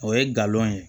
O ye galon ye